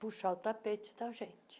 Puxar o tapete da gente.